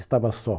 Estava só.